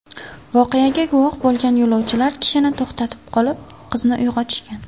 Voqeaga guvoh bo‘lgan yo‘lovchilar kishini to‘xtatib qolib, qizni uyg‘otishgan.